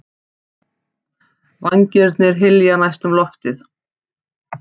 Vængirnir hylja næstum loftið.